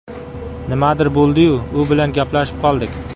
Nimadir bo‘ldi-yu, u bilan gaplashib qoldik.